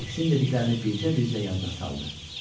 Fiksin dediklərini bircə-bircə yadına saldı.